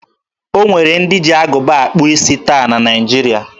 O nwere ndị ji agụba akpụ isi taa na Naịjiria.